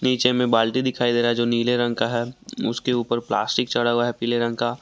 नीचे में बाल्टी दिखाई दे रहा है जो नीले रंग का है उसके ऊपर प्लास्टिक चढ़ा हुआ है पीले रंग का।